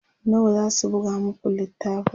nawa zasu buga maku littafin?